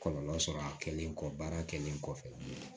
Kɔlɔlɔ sɔrɔ a kɛlen kɔ baara kɛlen kɔfɛ